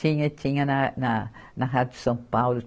Tinha, tinha, na, na Rádio São Paulo.